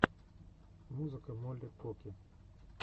музыка полли покки